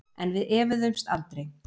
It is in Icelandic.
En við efuðumst aldrei.